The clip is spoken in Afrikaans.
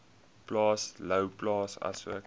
plaas louwplaas asook